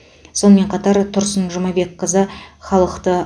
сонымен қатар тұрсын жұмабекқызы халықты